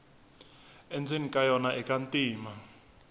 endzeni ka yona ika ntima